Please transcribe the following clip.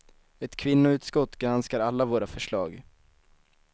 Ett kvinnoutskott granskar alla våra förslag.